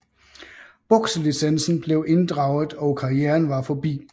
Bokselicensen blev indraget og karrieren var forbi